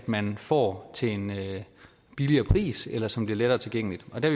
man får til en billigere pris eller som bliver lettere tilgængeligt der